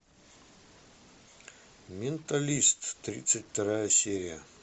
менталист тридцать вторая серия